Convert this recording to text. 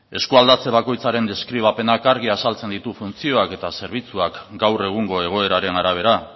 eskualdatzen bakoitzaren deskribapena argi azaltzen ditu funtzioak eta zerbitzuak gaur egungo egoeraren arabera